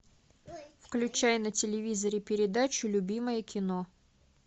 включай на телевизоре передачу любимое кино